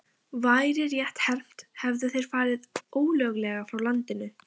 Væri rétt hermt, hefðu þeir farið ólöglega frá landinu.